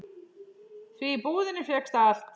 Því í búðinni fékkst allt.